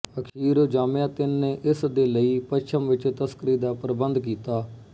ਅਖੀਰ ਜ਼ਾਮਿਆਤਿਨ ਨੇ ਇਸ ਦੀ ਲਈ ਪੱਛਮ ਵਿੱਚ ਤਸਕਰੀ ਦਾ ਪ੍ਰਬੰਧ ਕੀਤਾ